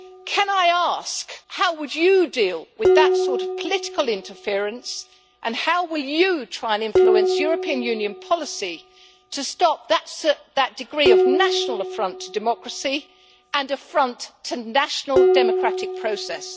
Can I ask, how would you deal with that sort of political interference and how will you try and influence European Union policy to stop that degree of national affront to democracy and affront to national democratic process?